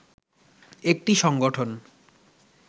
একটি সংগঠন